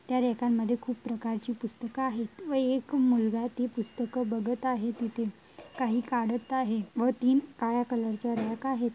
त्या रॅका मध्ये खूप प्रकारची पुस्तक आहेत व एक मुलगा ती पुस्तके बघत आहे तिथे काही काढत आहे व तीन काळ्या कलर च्या रॅक आहेत.